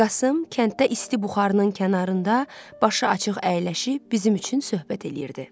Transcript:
Qasım kəndə isti buxarının kənarında başı açıq əyləşib bizim üçün söhbət eləyirdi.